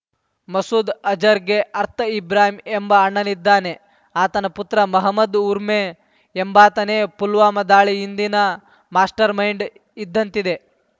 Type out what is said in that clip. ಮಸೂದ್‌ ಅಜರ್‌ಗೆ ಅರ್ಥ ಇಬ್ರಾಹಿಂ ಎಂಬ ಅಣ್ಣನಿದ್ದಾನೆ ಆತನ ಪುತ್ರ ಮೊಹಮ್ಮದ್‌ ಉರ್ಮೆ ಎಂಬಾತನೇ ಪುಲ್ವಾಮಾ ದಾಳಿ ಹಿಂದಿನ ಮಾಸ್ಟರ್‌ಮೈಂಡ್‌ ಇದ್ದಂತಿದೆ